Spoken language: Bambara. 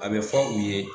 A bɛ fɔ u ye